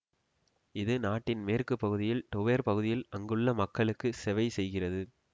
இது நாட்டின் மேற்கு பகுதியில் டோவெர் பகுதியில் அங்குள்ள மக்களுக்கு செவைசெய்கிறது